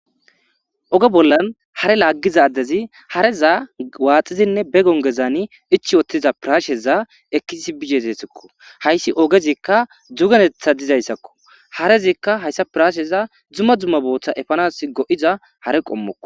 oge bollan hare laaggiza addezi harezaa waaxizinne be gongezani ichi ottiza piraasheza ekisis bigezeesikko hayssi ogezikka dzugenetha dizayssakko harezikka hayssa piraasheza dzuma dzumma booththa efanas go7iza hare qommokko